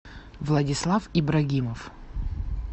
владислав ибрагимов